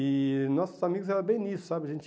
E nossos amigos eram bem nisso, sabe? A gente